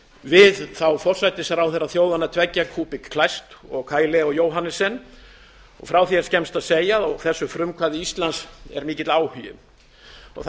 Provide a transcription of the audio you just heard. við forsætisráðherra hinna þjóðanna tveggja kuupik kleist og kai leo johannesen frá því er skemmst að segja að á þessu frumkvæði íslands er mikill áhugi það